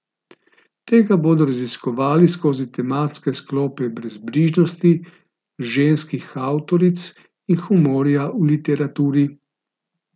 Tega bodo raziskovali skozi tematske sklope brezbrižnosti, ženskih avtoric in humorja v literaturi.